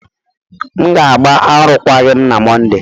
M ga-agba arụkwaghịm na Mọnde.